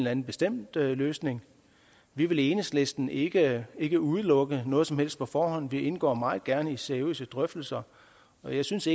anden bestemt løsning vi vil i enhedslisten ikke ikke udelukke noget som helst på forhånd vi indgår meget gerne i seriøse drøftelser og jeg synes